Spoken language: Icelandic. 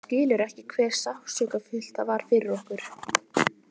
Skilur ekki hve sársaukafullt það var fyrir okkur.